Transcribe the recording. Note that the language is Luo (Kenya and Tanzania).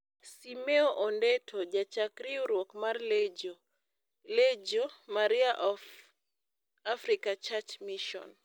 Simeo Ondeto, Jachak riwruok mar Lejio (Legio) Maria of African Church Mission,